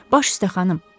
Baş üstə, xanım.